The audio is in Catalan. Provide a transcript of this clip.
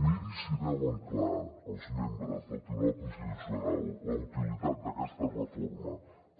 miri si veuen clar els membres del tribunal constitucional la utilitat d’aquesta reforma